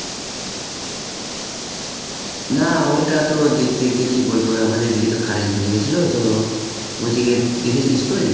না ওটা তো দেখতে দেখতে কি বলবো আমাদের এদিকে তো current চলে গেছিলো তো, ওইদিকে দেখেছিলিস তুই?